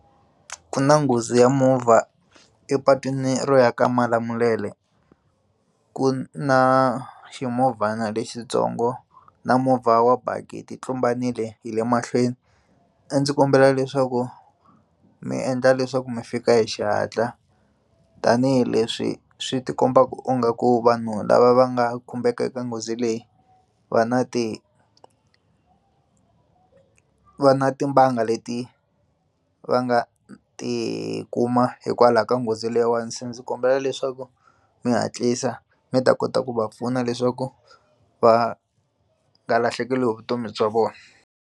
Ku na nghozi ya movha epatwini ro ya ka Malamulele ku na ximovhana lexitsongo na movha wa baki ti tlumbanile hi le mahlweni a ndzi kombela leswaku mi endla leswaku mi fika hi xihatla tanihileswi swi ti kombaka u nga ku vanhu lava va nga khumbeka eka nghozi leyi va na ti va na timbanga leti va nga ti kuma hikwalaho ka nghozi leyiwani se ndzi kombela leswaku mi hatlisa mi ta kota ku va pfuna leswaku va nga lahlekeriwi hi vutomi bya vona.